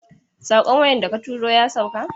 Saƙon waya da ka tura ya sauka?